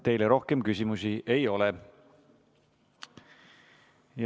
Teile rohkem küsimusi ei ole.